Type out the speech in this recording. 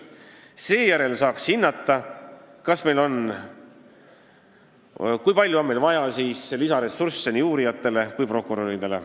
Seejärel saaks hinnata, kui palju on vaja lisaressursse nii uurijatele kui prokuröridele.